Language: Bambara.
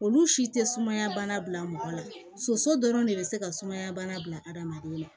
Olu si tɛ sumaya bana bila mɔgɔ la soso dɔrɔn de bɛ se ka sumaya bana bila hadamaden na